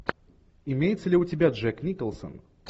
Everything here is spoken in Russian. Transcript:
имеется ли у тебя джек николсон